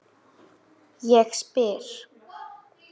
Hún fer að gráta.